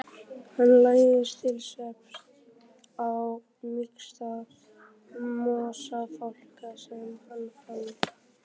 Hann lagðist til svefns á mýksta mosafláka sem hann fann.